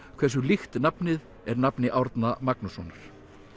hversu líkt nafnið er nafni Árna Magnússonar